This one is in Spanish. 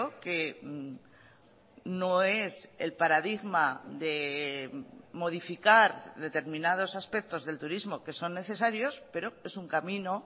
que no es el paradigma de modificar determinados aspectos del turismo que son necesarios pero es un camino